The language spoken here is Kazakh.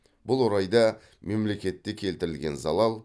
бұл орайда мемлекетті келтірілген залал